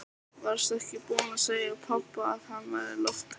Varstu ekki búin að segja pabba að hann væri lofthræddur?